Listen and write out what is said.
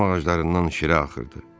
Şam ağaclarından şirə axırdı.